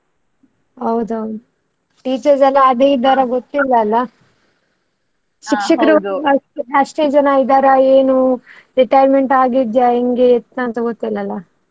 ಹೌದೌದು. teachers ಎಲ್ಲಾ ಅದೇ ಇದಾರಾ ಗೊತ್ತಿಲ್ಲ ಅಲ್ಲ. ಶಿಕ್ಷಕರು ಅಷ್ಟೇ ಜನ ಇದ್ದಾರೆ ಏನು, retirement ಆಗಿದ್ಯಾ ಹೆಂಗೆ ಯತ್ತ ಅಂತ ಗೊತ್ತಿಲ್ಲ ಅಲ್ಲ.